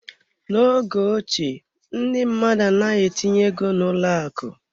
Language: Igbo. N'oge ochie, ndị mmadụ anaghị etinye ego n'ụlọ akụ.